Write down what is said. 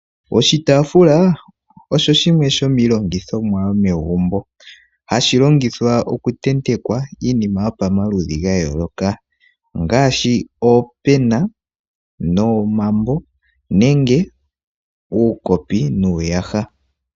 Oshitaafula osho shimwe shomiilongithomwa yomegumbo. Ohashi longithwa oku tetekwa iinima yopomaludhi ga yooloka ngaaashi oopena, omambo nenge uukopi nuuyaha.